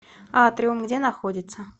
атриум где находится